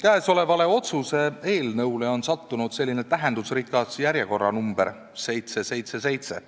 Käesolevale otsuse eelnõule on sattunud tähendusrikas järjekorranumber 777.